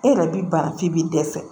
E yɛrɛ b'i ban f'i bi dɛsɛ